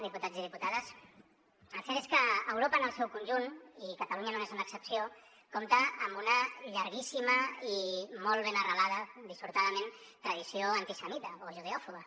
diputats i diputades el cert és que europa en el seu conjunt i catalunya no n’és una excepció compta amb una llarguíssima i molt ben arrelada dissortadament tradició antisemita o judeòfoba